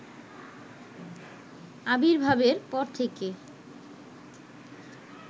আবির্ভাবের পর থেকে